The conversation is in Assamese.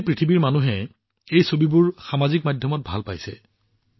সমগ্ৰ বিশ্বৰ লোকে সামাজিক মাধ্যমত এই ছবিবোৰ ভাল পাইছে